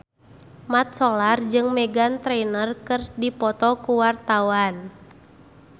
Mat Solar jeung Meghan Trainor keur dipoto ku wartawan